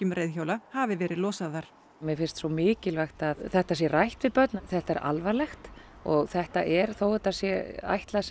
reiðhjóla hafi verið losaðar mér finnst mikilvægt að þetta sé rætt við börn þetta er alvarlegt og þetta er þó að þetta sé ætlað sem